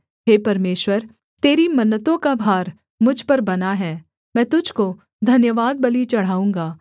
हे परमेश्वर तेरी मन्नतों का भार मुझ पर बना है मैं तुझको धन्यवादबलि चढ़ाऊँगा